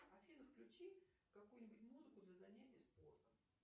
афина включи какую нибудь музыку для занятия спортом